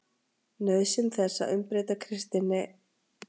NAUÐSYN ÞESS AÐ UMBREYTA KRISTINNI